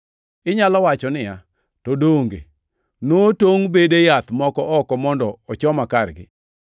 Inyalo wacho niya, “To donge notongʼ bede yath moko oko mondo ochoma kargi?”